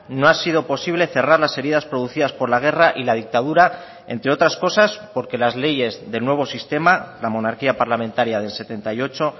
no ha sido posible cerrar las heridas producidas por la guerra y la dictadura entre otras cosas porque las leyes del nuevo sistema la monarquía parlamentaria del setenta y ocho